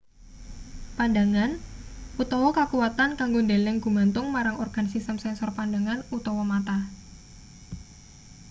pandhangan utawa kakuwatan kanggo ndeleng gumantung marang organ sistem sensor pandhangan utawa mata